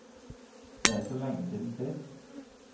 Det er så lenge siden sist.